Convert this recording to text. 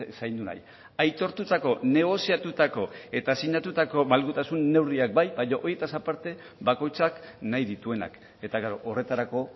zaindu nahi aitortutako negoziatutako eta sinatutako malgutasun neurriak bai baina horietaz aparte bakoitzak nahi dituenak eta horretarako